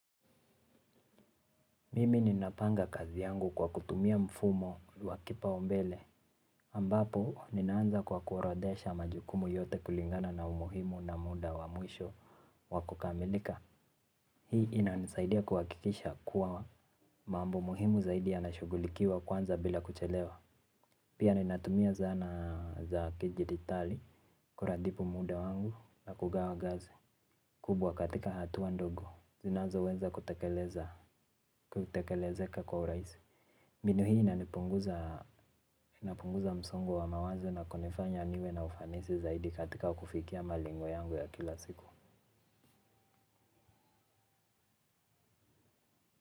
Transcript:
Mimi ninapanga kazi yangu kwa kutumia mfumo wakipao mbele. Ambapo ninanza kwa kuorodesha majukumu yote kulingana na umuhimu na muda wa mwisho wakukamilika. Hii inanisaidia kuwakikisha kuwa mambo muhimu zaidi yanashugulikiwa kwanza bila kuchelewa. Pia ninatumia zana za kijitali. Kuratibu muda wangu na kugawa kazi. Kubwa katika hatuwa ndogo. Zinazoweza kutekeleza kwa urahisi. Mbinu hii inapunguza msongo wa mawazo na kunifanya niwe na ufanisi zaidi katika kufikia malengo yangu ya kila siku.